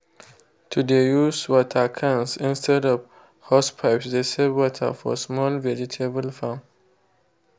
to de use water cans instead of hosepipes de save water for small vegetable farm.